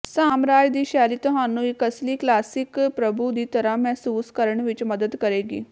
ਸਾਮਰਾਜ ਦੀ ਸ਼ੈਲੀ ਤੁਹਾਨੂੰ ਇੱਕ ਅਸਲੀ ਕਲਾਸਿਕ ਪ੍ਰਭੂ ਦੀ ਤਰ੍ਹਾਂ ਮਹਿਸੂਸ ਕਰਨ ਵਿੱਚ ਮਦਦ ਕਰੇਗੀ